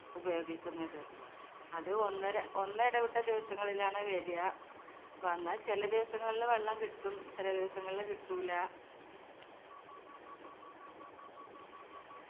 ഉപയോഗിക്കുന്നത്. അത് ഒന്നര ഒന്നടവിട്ട ദിവസങ്ങളിലാണ് വെരിയ. വന്നാൽ ചെല ദിവസങ്ങളില് വെള്ളം കിട്ടും ചെല ദിവസങ്ങളില് കിട്ടൂല്ല.